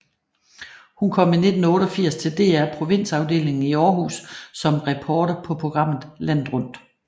Hun kom i 1988 til DR Provinsafdelingen i Århus som reporter på programmet Landet Rundt